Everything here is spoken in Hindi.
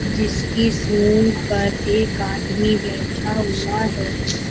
जिसकी सूंड पर एक आदमी बैठा हुआ है।